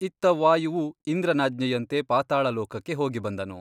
ಇತ್ತ ವಾಯುವು ಇಂದ್ರನಾಜ್ಞೆಯಂತೆ ಪಾತಾಳಲೋಕಕ್ಕೆ ಹೋಗಿಬಂದನು.